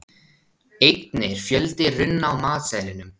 einnig er fjöldi runna á matseðlinum